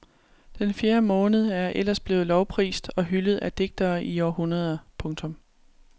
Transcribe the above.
Den fjerde måned er ellers blevet lovprist og hyldet af digtere i århundreder. punktum